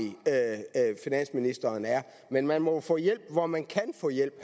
finansministeren er men man må jo få hjælp hvor man kan få hjælp